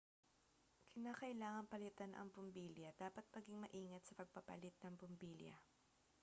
kinakailangang palitan ang bumbilya dapat maging maingat sa pagpapalit ng bumbilya